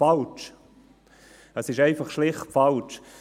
Das ist einfach schlicht falsch!